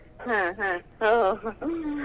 ಹ ಹಾ ಹೋ .